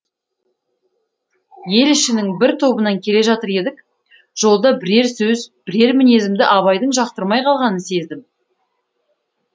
ел ішінің бір тобынан келе жатыр едік жолда бірер сөз бірер мінезімді абайдың жақтырмай қалғанын сездім